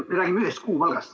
Me räägime ühest kuupalgast.